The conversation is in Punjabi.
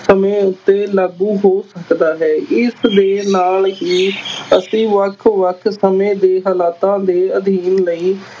ਸਮੇਂ ਉੱਤੇ ਲਾਗੂ ਹੋ ਸਕਦੇ ਹਨ, ਇਸ ਦੇ ਨਾਲ ਹੀ ਅਸੀਂ ਵੱਖ-ਵੱਖ ਸਮੇਂ ਦੇ ਹਾਲਾਤਾਂ ਦੇ ਅਧਿਐਨ ਲਈ